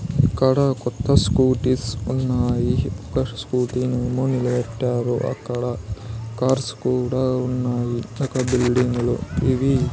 ఇక్కడ కొత్త స్కూటీస్ ఉన్నాయి ఒక్క స్కూటీ నేమో నిలబెట్టారు అక్కడ కార్స్ కూడా ఉన్నాయి పక్క బిల్డింగులు ఇవి.